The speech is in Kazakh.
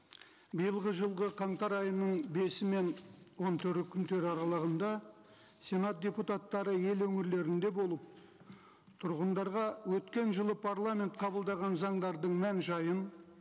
биылғы жылғы қаңтар айының бесі мен он төрті күндері аралығында сенат депутаттары ел өңірлерінде болып тұрғындарға өткен жылы парламент қабылдаған заңдардың мән жайын